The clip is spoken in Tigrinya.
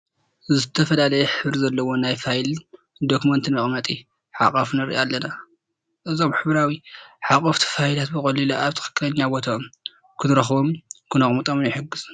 ዝተፈላለየ ሕብሪ ዘለዎ ናይ ፋይልን ዶክመንትን መቐመጢ ሓቋፊ ንርኢ ኣለና፡፡ እዞም ሕብራዊ ሓቖፍቲ ፋይላት ብቐሊሉ ኣብ ትኽኽለኛ ቦትኦም ክንረኽቦምን ክነቕምጦምን ይሕግዙ፡፡